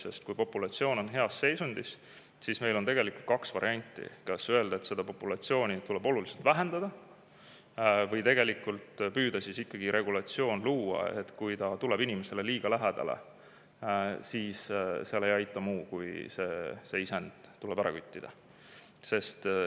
Sest kui populatsioon on heas seisundis, siis meil on kaks varianti: kas öelda, et seda populatsiooni tuleb oluliselt vähendada, või püüda ikkagi luua regulatsioon, et kui hunt tuleb inimesele liiga lähedale, siis seal ei aita muu, kui see isend tuleb ära küttida.